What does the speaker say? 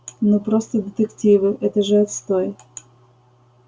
ну просто детективы это же отстой